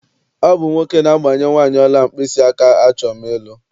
Ọ bụ nwoke na-agbanye nwaanị ọla mkpịsịaka achọm ịlụ.